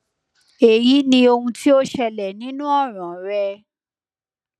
eyi ni ohun ti o ti ṣẹlẹ ninu ọran rẹ